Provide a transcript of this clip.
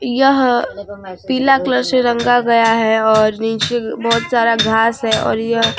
यह पीला कलर से रंगा गया है और नीचे बहुत सारा घास हैं और यह --